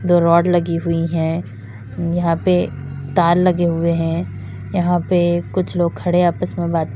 दो राड लगी हुई है यहां पे तार लगे हुए हैं यहां पर कुछ लोग खड़े आपस में बात--